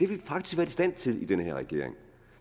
vi faktisk været i stand til i den her regering